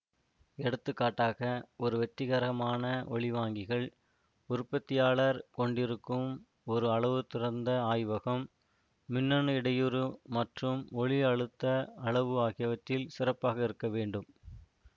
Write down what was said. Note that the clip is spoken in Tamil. எடுத்துக்காட்டாக ஒரு வெற்றிகரமான ஒலிவாங்கிகள் உற்பத்தியாளர் கொண்டிருக்கும் ஒரு அளவுத்திருந்த ஆய்வகம் மின்னணு இடையூறு மற்றும் ஒலி அழுத்த அளவு ஆகியவற்றில் சிறப்பாக இருக்க வேண்டும்